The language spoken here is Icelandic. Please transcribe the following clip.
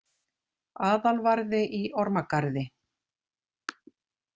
Aðalvarði í Ormagarði,